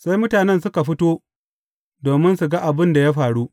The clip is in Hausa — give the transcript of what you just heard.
Sai mutanen suka fito, domin su ga abin da ya faru.